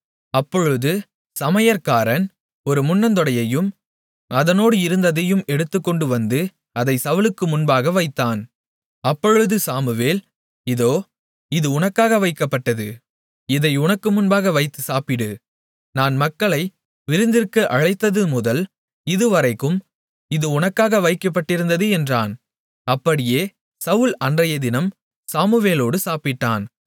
அப்பொழுது சமையற்காரன் ஒரு முன்னந்தொடையையும் அதனோடு இருந்ததையும் எடுத்துக்கொண்டு வந்து அதை சவுலுக்கு முன்பாக வைத்தான் அப்பொழுது சாமுவேல் இதோ இது உனக்காக வைக்கப்பட்டது இதை உனக்கு முன்பாக வைத்துச் சாப்பிடு நான் மக்களை விருந்திற்கு அழைத்தது முதல் இதுவரைக்கும் இது உனக்காக வைக்கப்பட்டிருந்தது என்றான் அப்படியே சவுல் அன்றையதினம் சாமுவேலோடு சாப்பிட்டான்